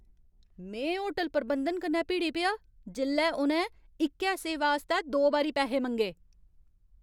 में होटल प्रबंधन कन्नै भिड़ी पेआ जेल्लै उ'नें इक्कै सेवा आस्तै दो बारी पैहे मंगे।